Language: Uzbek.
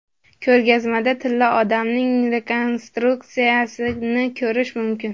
Ko‘rgazmada Tilla odamning rekonstruksiyasini ko‘rish mumkin.